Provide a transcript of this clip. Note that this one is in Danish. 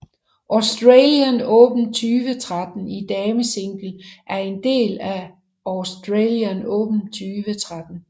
Australian Open 2013 i damesingle er en del af Australian Open 2013